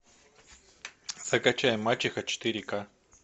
закачай мачеха четыре к